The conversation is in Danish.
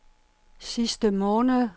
sidste måned